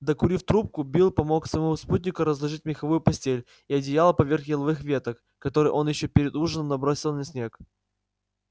докурив трубку билл помог своему спутнику разложить меховую постель и одеяло поверх еловых веток которые он ещё перед ужином набросил на снег